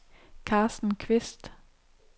Karsten Kvist